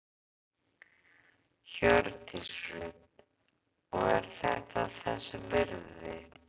Hjördís Rut: Og er þetta þess virði?